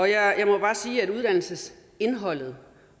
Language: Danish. jeg må bare sige at uddannelsesindholdet